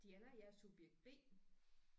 Diana jeg er subjekt B